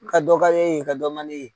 Ka dɔ ka d'e ye ka dɔ man d'e ye.